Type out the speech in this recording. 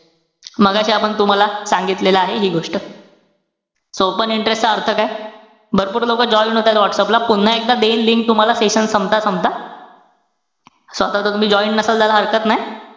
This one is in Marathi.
मघाशी आपण तुम्हाला सांगितलेले आहे हि गोष्ट. so open interest चा अर्थ काय? भरपूर लोकं join असाल व्हाट्सअप ला. पुन्हा एकदा देईन link तुम्हाला session संपता-संपता. so ता जर तुम्ही join नसाल, तर हरकत नाई.